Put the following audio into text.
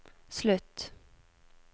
slutt